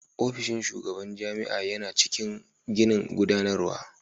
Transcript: Ofishin shugaban jami'a yana cikin ginin gudanarwa.